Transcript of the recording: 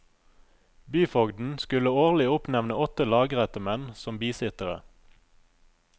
Byfogden skulle årlig oppnevne åtte lagrettemenn som bisittere.